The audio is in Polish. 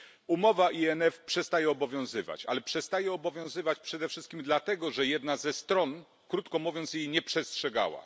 Umowa INF przestaje obowiązywać, ale przestaje obowiązywać przede wszystkim dlatego, że jedna ze stron krótko mówiąc jej nie przestrzegała.